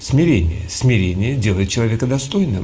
смирение смирение делает человека достойным